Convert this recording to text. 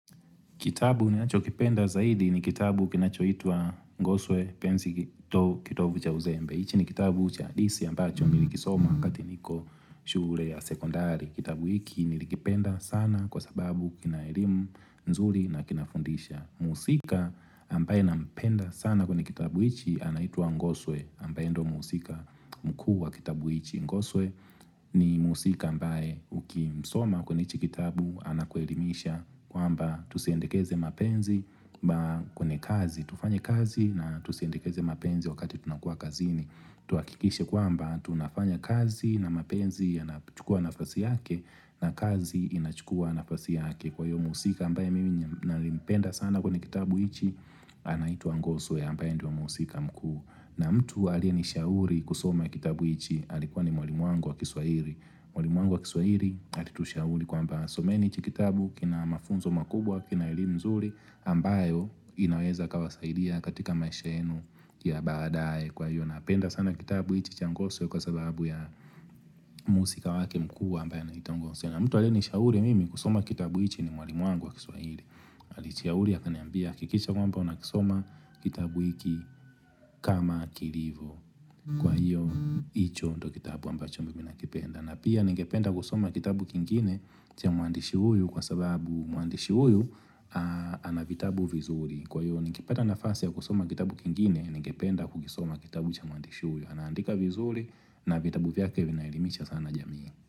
Kitabu ninachokipenda zaidi ni kitabu kinachoitwa Ngoswe penzi kitovu cha uzembe. Hichi ni kitabu cha hadithi ambacho nilikisoma wakati niko shule ya sekondari. Kitabu hiki nilikipenda sana kwasababu kina elimu nzuri na kinafundisha. Mhusika ambaye nampenda sana kwenye kitabu hichi anaitwa Ngoswe ambaye ndio mhusika mkuu wa kitabu hiki. Ngoswe ni mhusika ambaye ukimsoma kwenye hichi kitabu anakuelimisha Kwa amba tusiendikeze mapenzi mba kwenye kazi tufanye kazi na tusiendekeze mapenzi wakati tunakuwa kazini. Tuhakikishe kwamba tunafanya kazi na mapenzi yanachukua nafasi yake na kazi inachukua nafasi yake. Kwahiyo mhusika ambaye mimi nilimpenda sana kwenye kitabu hichi anaitwa Ngoswe ambaye ndiyo mhusika mkuu. Na mtu aliyenishauri kusoma kitabu hichi alikuwa ni mwalimu wangu wa kiswahili. Mwalimu wangu wa kiswahili alitushauri kwamba someni hichi kitabu kina mafunzo makubwa, kina elimu nzuri ambayo inaweza ikawasaidia katika maisha yenu ya baadae. Kwahiyo napenda sana kitabu hichi cha Ngoswe kwasababu ya mhusika wake mkuu ambaye anaitwa Ngoswe na mtu aliyenishauri mimi kusoma kitabu hichi ni mwalimu wangu wa kiswahili. Alinishauria akaniambia hakikisha kwamba unakisoma kitabu hiki kama kilivyo. Kwa hiyo, hicho ndo kitabu ambacho mimi nakipenda. Na pia, ningependa kusoma kitabu kingine cha mwandishi huyu kwasababu mwandishi huyu Anavitabu vizuri. Kwa hiyo, nikipata nafasi ya kusoma kitabu kingine, ningependa kukisoma kitabu cha mwandishi huyu. Anaandika vizuri na vitabu vyake vinaelimisha sana jamii.